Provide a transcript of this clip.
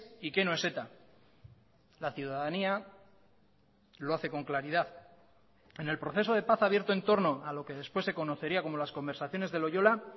y qué no es eta la ciudadanía lo hace con claridad en el proceso de paz abierto en torno a lo que después se conocería como las conversaciones de loyola